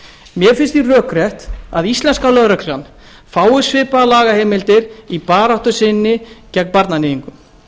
mér finnst því rökrétt að íslenska lögreglan fái svipaðar lagaheimildir í baráttu sinni gegn barnaníðingum